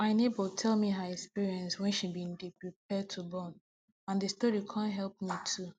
my neighbor tell me her experience wen she bin dey prepare to born and d story con help me too